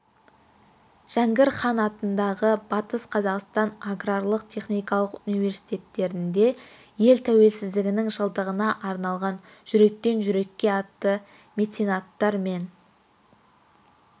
жәңгір хан атындағы батыс қазақстан аграрлық-техникалық университетінде ел тәуелсіздігінің жылдығына арналған жүректен жүрекке атты меценаттар мен